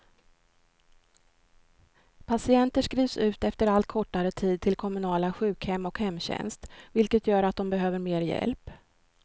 Patienter skrivs ut efter allt kortare tid till kommunala sjukhem och hemtjänst, vilket gör att de behöver mer hjälp.